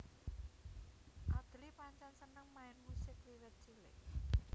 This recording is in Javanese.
Adly pancèn seneng main musik wiwit cilik